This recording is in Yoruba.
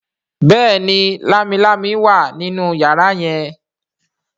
béèni Lámilámi wá nínú yàrá yen.